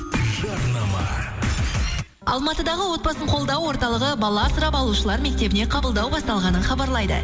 жарнама алматыдағы отбасын қолдау орталығы бала асырап алушылар мектебіне қабылдау басталғанын хабарлайды